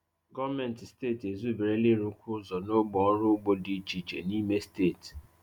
Gọ́mentị steeti ezubere ịrụkwu ụzọ n’ógbè ọrụ ugbo dị iche iche n’ime steeti.